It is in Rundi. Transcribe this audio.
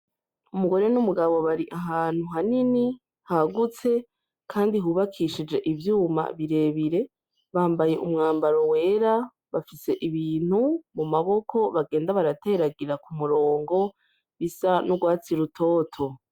Umugore n'umugabo bari ahantu hanini hagutse kandi hubakishije ivyuma birebire, bambaye umwambaro wera bafise ibintu mu maboko bagenda barateragira k'umurongo bisa n'urwatsi rutoto.